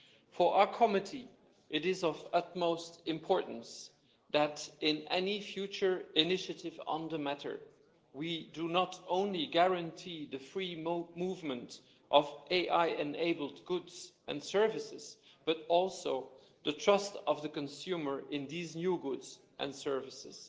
For our committee, it is of utmost importance that in any future initiative on the matter, we do guarantee not only the free movement of AI enabled goods and services, but also the trust of the consumer in these new goods and services